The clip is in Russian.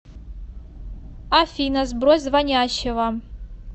афина сбрось звонящего